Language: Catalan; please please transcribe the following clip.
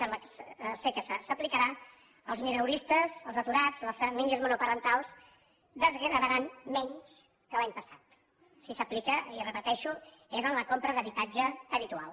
sembla que s’aplicarà els mileuristes els aturats les famílies monoparentals desgravaran menys que l’any passat si s’aplica i ho repeteixo és en la compra d’habitatge habitual